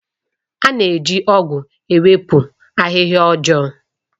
A na-eji ọ̀gu ewepụ ahịhịa ọjọọ.